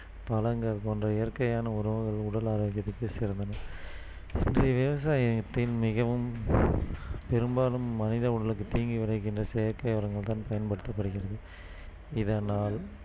பழங்கள் போன்ற இயற்கையான உணவுகள் உடல் ஆரோக்கியத்திற்கு சிறந்தன இன்றைய விவசாயத்தின் மிகவும் பெரும்பாலும் மனித உடலுக்கு தீங்கு விளைகின்ற செயற்கை உரங்கள் தான் பயன்படுத்தப்படுகிறது இதனால்